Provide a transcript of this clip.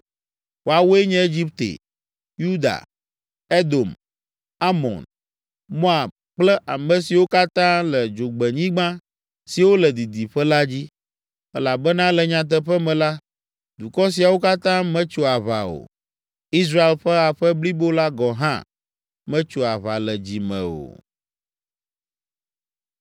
Woawoe nye Egipte, Yuda, Edom, Amon, Moab kple ame siwo katã le dzogbenyigba siwo le didiƒe la dzi, elabena le nyateƒe me la, dukɔ siawo katã metso aʋa o. Israel ƒe aƒe blibo la gɔ̃ hã metso aʋa le dzi me o.”